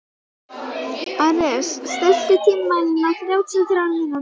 Ares, stilltu tímamælinn á þrjátíu og þrjár mínútur.